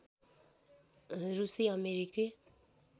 रुसी अमेरिकी